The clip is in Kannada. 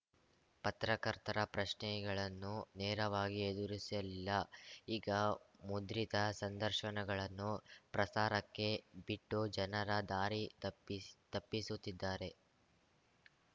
ಪತ್ರಕರ್ತರ ಪ್ರಶ್ನೆಗಳನ್ನು ನೇರವಾಗಿ ಎದುರಿಸಲಿಲ್ಲ ಈಗ ಮುದ್ರಿತ ಸಂದರ್ಶನಗಳನ್ನು ಪ್ರಸಾರಕ್ಕೆ ಬಿಟ್ಟು ಜನರ ದಾರಿತಪ್ಪಿಸ್ ತಪ್ಪಿಸುತ್ತಿದ್ದಾರೆ